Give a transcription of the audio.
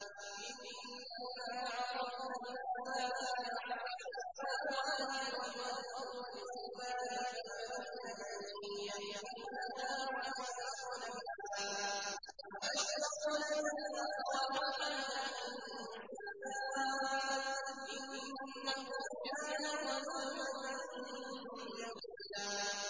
إِنَّا عَرَضْنَا الْأَمَانَةَ عَلَى السَّمَاوَاتِ وَالْأَرْضِ وَالْجِبَالِ فَأَبَيْنَ أَن يَحْمِلْنَهَا وَأَشْفَقْنَ مِنْهَا وَحَمَلَهَا الْإِنسَانُ ۖ إِنَّهُ كَانَ ظَلُومًا جَهُولًا